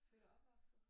Født og opvaktet